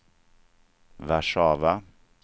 Warszawa